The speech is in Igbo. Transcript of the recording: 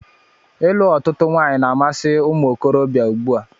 Ịlụ ọtụtụ nwanyị na-amasi umuokorobia ùgbúà.